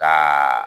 Ka